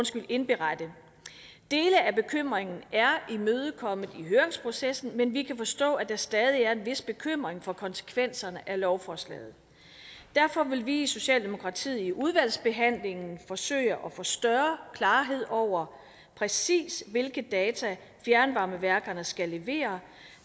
skal indberette dele af bekymringen er imødekommet i høringsprocessen men vi kan forstå at der stadig er en vis bekymring for konsekvenserne af lovforslaget derfor vil vi i socialdemokratiet i udvalgsbehandlingen forsøge at få større klarhed over præcis hvilke data fjernvarmeværkerne skal levere